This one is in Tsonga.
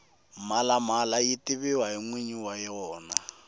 mhalamala yi tiviwa hi nwinyi wa yena